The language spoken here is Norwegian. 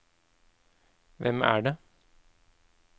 hvem er det